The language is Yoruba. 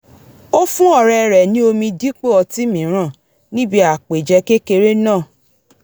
ó fún ọ̀rẹ́ rẹ̀ ní omi dípò ọtí mìíràn níbi àpèjẹ kéreké náà